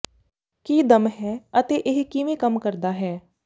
ਕੀ ਦਮ ਹੈ ਅਤੇ ਇਹ ਕਿਵੇਂ ਕੰਮ ਕਰਦਾ ਹੈ